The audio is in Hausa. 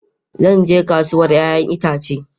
Zan je kasuwar 'ya'yan itace.